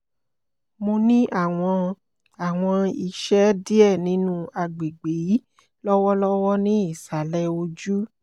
mo ni awọn awọn isẹ diẹ ninu agbegbe yii lọwọlọwọ ni isalẹ oju